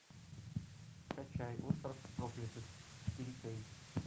скачай остров проклятых четыре кей